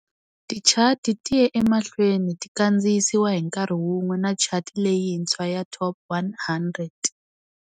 Tichati ti ye emahlweni ti kandziyisiwa hi nkarhi wun'we na chati leyintshwa"ya Top 100".